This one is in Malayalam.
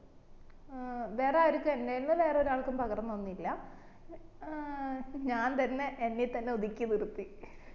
ആഹ് വേറെ ആരും വേറെ ഒരാൾക്കും പകർന്നൊന്നുല്ല ഏർ ഞാൻ തന്നെ എന്നി തന്നെ ഒതുക്കി നിർത്തി